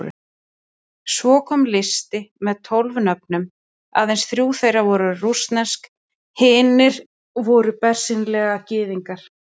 Svo kom listi með tólf nöfnum, aðeins þrjú þeirra voru rússnesk, hinir voru bersýnilega Gyðingar.